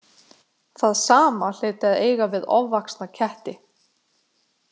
Það sama hlyti að eiga við ofvaxna ketti.